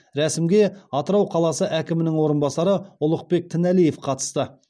рәсімге атырау қаласы әкімінің орынбасары ұлықбек тіналиев қатысты